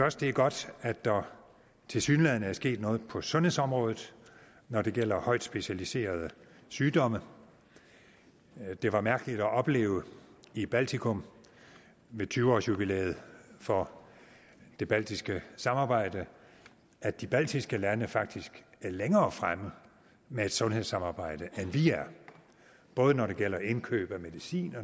også det er godt at der tilsyneladende er sket noget på sundhedsområdet når det gælder højt specialiserede sygdomme det var mærkeligt at opleve i baltikum ved tyve års jubilæet for det baltiske samarbejde at de baltiske lande faktisk er længere fremme med et sundhedssamarbejde end vi er både når det gælder indkøb af medicin